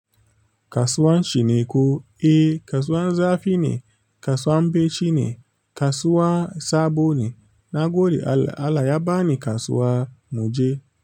Kasuwan shine ko, eh kasuwan zafi ne, kasuwan beci ne, kasuwa sabo ne. Na gode Allah, Allah ya ba ni kasuwa mu je.